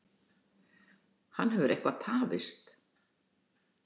Hann hefur eitthvað tafist.